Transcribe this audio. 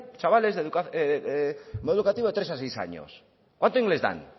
chavales de modelo educativo de tres a seis años cuánto inglés dan